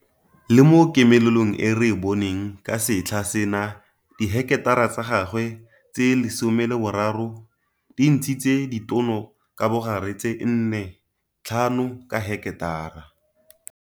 Le mo komelelong e re e boneng ka setlha sena diheketara tsa gagwe tse 13 di ntshitse ditono ka bogare tse 4,5 ka heketara.